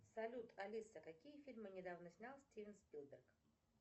салют алиса какие фильмы недавно снял стивен спилберг